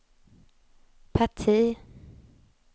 parti